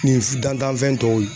Nin dantanfɛn tɔw